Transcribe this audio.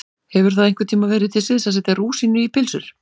Hefur það einhvern tíma verið til siðs að setja rúsínu í pylsur?